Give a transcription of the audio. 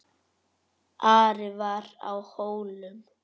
Ari var á Hólum.